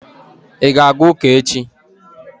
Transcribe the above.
ị ga-aga ụka echi?